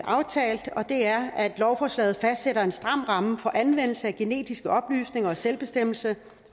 lovforslaget fastsætter en stram ramme for anvendelse af genetiske oplysninger i selvbestemmelse